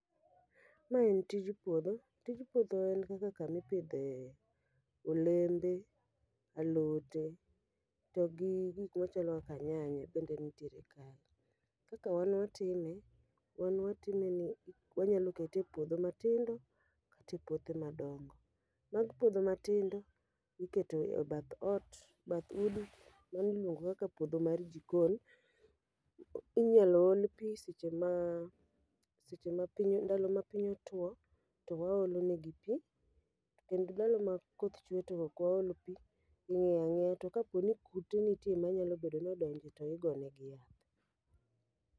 Ma en tij puodho, tij puodho en kaka kamipidhe olembe, alote, togi gik machalo kaka nyanya bende nitiere kanyo. Kaka wan watime, wan watime ni wanyalo kete e puodho matindo kata e puothe madongo. Mag puodho matindo, iketo e bath ot, bath udi, mano iluongo kaka puodho mar jikon. Inyalo ol pi seche ma seche ma piny ndalo ma piny otwo to waolo negi pi. Kendo ndalo ma koth chwe to ok waol pi, iwe aweya, to kapo ni kute nitie ma nyalo bedo nodonje to igone gi yath.